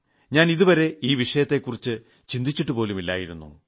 ഞാൻ ഇതുവരെ ഈ വിഷയത്തെക്കുറിച്ച് ചിന്തിച്ചിട്ടുപോലുമില്ലായിരുന്നു